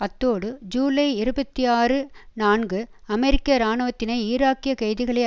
அத்தோடு ஜூலை இருபத்தி ஆறு நான்கு அமெரிக்க இராணுவத்தினர் ஈராக்கியக் கைதிகளை